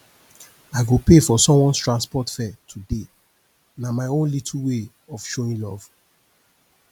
i go pay for someones transport fare today na my own little way of showing love